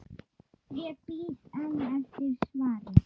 Ég bíð enn eftir svari.